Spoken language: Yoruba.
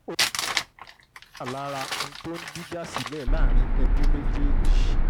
ogun mohbad wà lára ń tó ń dìjà sílẹ̀ láàrin ẹbí méjèèjì